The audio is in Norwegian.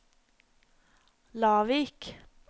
Lavik